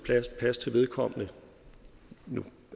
pas til vedkommende nu